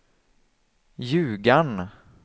Ljugarn